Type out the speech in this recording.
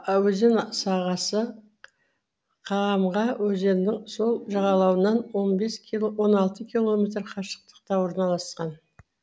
өзен сағасы каамга өзенінің сол жағалауынан он алты километр қашықтықта орналасқан